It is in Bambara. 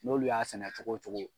N'olu y'a sɛnɛ cogo cogo